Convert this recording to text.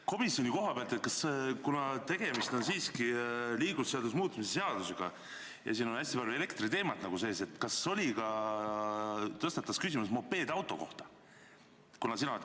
Komisjoni koha pealt: kuna tegemist on siiski liiklusseaduse muutmise seadusega ja siin on hästi palju elektriteemat nagu sees, siis kas tõstatatus küsimus mopeedauto kohta?